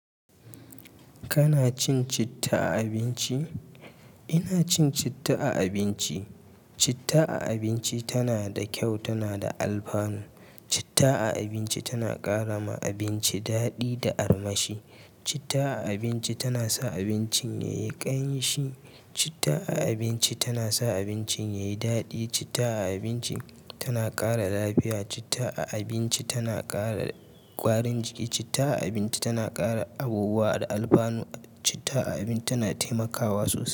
Kana cin citta a abinci? Ina cin citta a abinci. Citta a abinci tana da kyau, tana da alfanu. Citta a abinci tana ƙara ma abinci daɗi da armashi. Citta a abinci tana sa abincin yayi ƙanshi. Citta a abinci tana sa abincin yayi daɗi. Citta a abinci tana ƙara lafiya. Citta a abinci tana ƙara ƙwarin jiki. Citta a abinci tana ƙara abubuwa da alfanu. Citta a abinci tana taimakawa sosai.